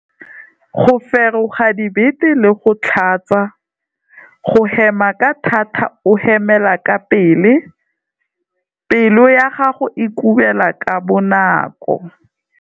Go feroga dibete le go tlhatsa. Go hema ka thata o hemela ka pele. Pelo ya gago e kubela ka bonako.